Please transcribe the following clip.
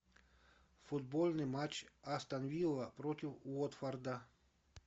футбольный матч астон вилла против уотфорда